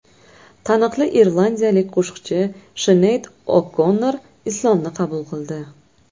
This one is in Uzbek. Taniqli irlandiyalik qo‘shiqchi Shineyd O‘Konnor Islomni qabul qildi.